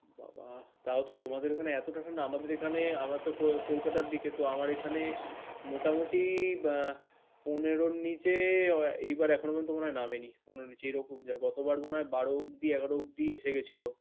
বাবা! তাওতো তোমাদের ওখানে এতটা ঠাণ্ডা আমাদের এখানে আমরাতো কল কলকাতার দিকেতো আমার এখানে মোটামুটি আহ পনেরোর নিচে এইবার এখনো পর্যন্ত বোধহয় নামেনি পনেরোর নিচে। এরকম যে, গতবার মনে হয় বারো অবধি এগারো অবধি এসে গেছিল।